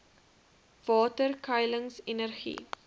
water skuiling energie